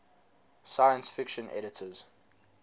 science fiction editors